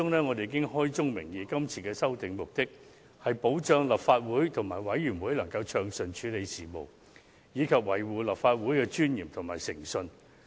我們在所提交的文件中指出，是次修訂的目的是為了保障立法會及其轄下各委員會能暢順處理事務，並維護立法會的尊嚴及誠信。